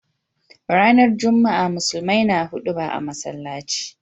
Ranar juma'a musulmai na huduba a masallaci.